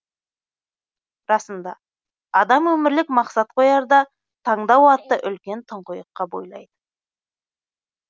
расында адам өмірлік мақсат қоярда таңдау атты үлкен тұңғиыққа бойлайды